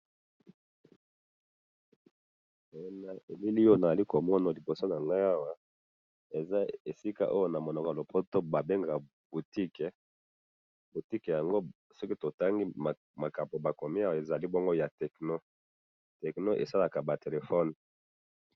Namoni oyo balakisi ngai awa liboso nanga, eza oyo ba bengaka na lopoto Boutique, Techno oyo esalaka ba telephone,